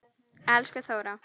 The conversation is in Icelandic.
Elsku Þóra.